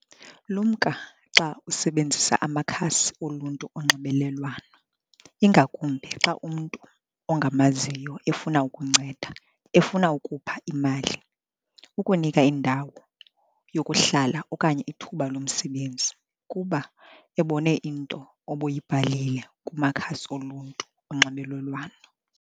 Lumka xa usebenzisa amakhasi oluntu onxibelelwano, ingakumbi xa umntu ongamaziyo efuna ukunceda, efuna ukupha imali, ukunika indawo yokuhlala okanye ithuba lomsebenzi kuba ebone into obuyibhalile kumakhasi oluntu onxibelelwano.